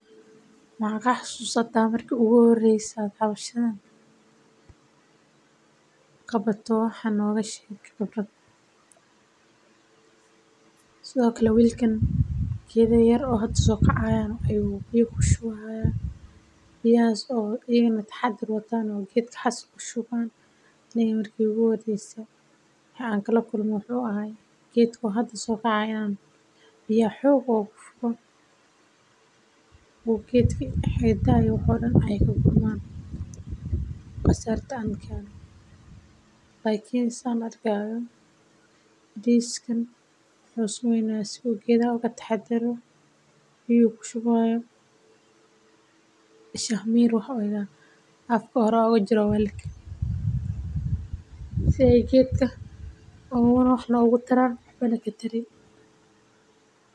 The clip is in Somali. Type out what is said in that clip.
Ma xasuusta marki iigu horeyse aad howshan qabato wax nooga sheeg khibradaada sido kale wiilkan geeda talaalka waxeey eheed waayo aragnimo xiisa cusub waxaa sido kale looga hor tago waa qalab yar waxaana lagaliya.